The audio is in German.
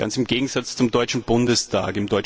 Ganz im Gegensatz zum Deutschen Bundestag!